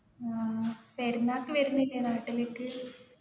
ആ പെരുന്നാക്ക് വരുന്നില്ലേ നാട്ടിലേക്ക്